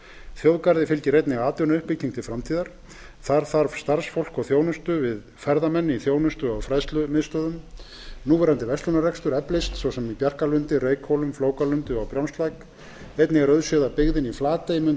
þjóðgarði fylgir einnig atvinnuuppbygging til framtíðar þar þarf starfsfólk og þjónustu við ferðamenn í þjónustu og fræðslumiðstöðvum núverandi verslunarrekstur eflist svo sem í bjarkalundi reykhólum flókalundi og á brjánslæk einnig er auðséð að byggðin í flatey mundi